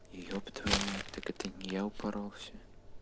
ёб твою мать так это не я упоролся